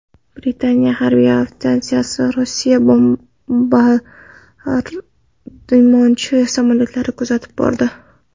Britaniya harbiy aviatsiyasi Rossiya bombardimonchi samolyotlarini kuzatib bordi.